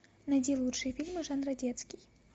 найди лучшие фильмы жанра детский